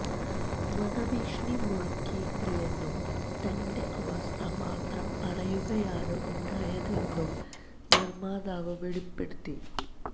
വധഭീഷണി മുഴക്കിയിട്ടില്ലെന്നും തന്റെ അവസ്ഥ മാത്രം പറയുകയാണ് ഉണ്ടായതെന്നും നിര്മ്മാതാവ് വെളിപ്പെടുത്തി